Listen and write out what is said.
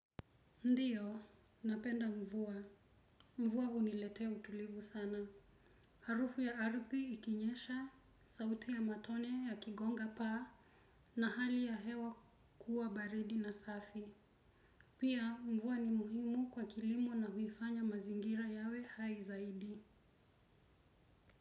Ndiyo, napenda mvua. Mvua huniletea utulivu sana harufu ya ardhi ikinyesha, sauti ya matone yakigonga paa na hali ya hewa kuwa baridi na safi. Pia mvua ni muhimu kwa kilimo na huifanya mazingira yawe hai zaidi.